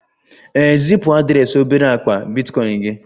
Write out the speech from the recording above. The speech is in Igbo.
ee, zipu adreesị obere akpa bitcoin gị